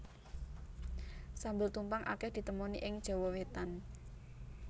Sambel tumpang akeh ditemoni ing Jawa Wétan